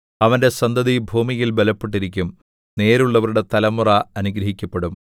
അവന്റെ സന്തതി ഭൂമിയിൽ ബലപ്പെട്ടിരിക്കും നേരുള്ളവരുടെ തലമുറ അനുഗ്രഹിക്കപ്പെടും